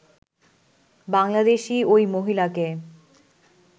বাংলাদেশী ওই মহিলাকে